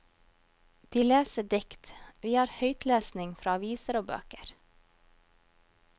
De leser dikt, vi har høytlesning fra aviser og bøker.